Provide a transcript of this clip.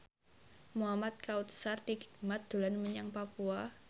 Muhamad Kautsar Hikmat dolan menyang Papua